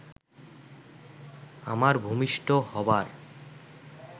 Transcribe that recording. আমার ভূমিষ্ঠ হবার